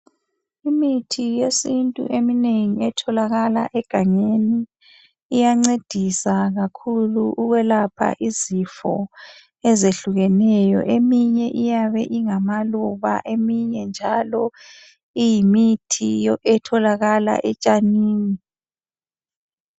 Imithi yesintu eminengi etholakala egangeni, iyancedisa kakhulu ukwelapha izifo ezehlukeneyo. Eminye iyabe ingama luba eminye njalo iyimithi etholakala etshanini.